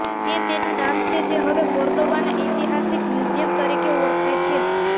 તે તેનું નામ છે જે હવે કોર્ડોબાના ઐતિહાસિક મ્યુઝિયમ તરીકે ઓળખાય છે